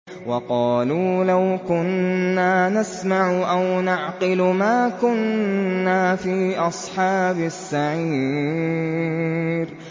وَقَالُوا لَوْ كُنَّا نَسْمَعُ أَوْ نَعْقِلُ مَا كُنَّا فِي أَصْحَابِ السَّعِيرِ